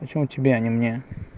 почему тебе а не мне